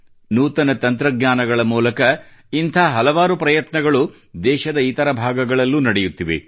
ನೂತನ ತಂತ್ರಜ್ಞಾನಗಳ ಮೂಲಕ ಇಂಥ ಹಲವಾರು ಪ್ರಯತ್ನಗಳು ದೇಶದ ಇತರ ಭಾಗಗಳಲ್ಲೂ ನಡೆಯುತ್ತಿವೆ